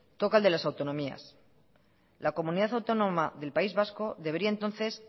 toca el de las autonomías la comunidad autónoma del país vasco debería entonces